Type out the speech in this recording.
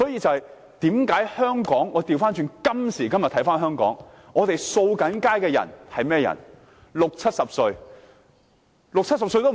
我們看看今時今日的香港，清潔街道的都是六七十歲的長者。